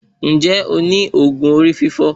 Ǹjẹ́ ẹ ní òògùn orí fífọ́